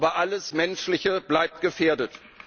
Aber alles Menschliche bleibt gefährdet.